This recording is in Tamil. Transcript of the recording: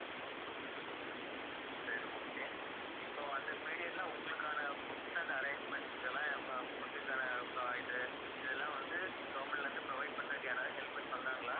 சரி okay இப்போ அந்த period ல உங்களுக்கான foods and arrangements க்கெல்லாம் ஆஹ் food க்கான அப்பறம் இது இதெல்லாம் வந்து government ல இருந்து provide பண்றதுக்கு யாராவது helpers வந்தாங்களா